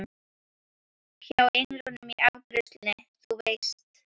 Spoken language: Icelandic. Hjá englinum í afgreiðslusalnum, þú veist.